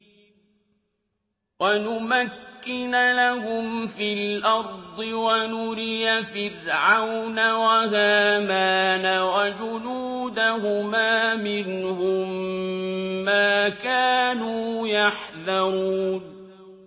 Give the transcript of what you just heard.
وَنُمَكِّنَ لَهُمْ فِي الْأَرْضِ وَنُرِيَ فِرْعَوْنَ وَهَامَانَ وَجُنُودَهُمَا مِنْهُم مَّا كَانُوا يَحْذَرُونَ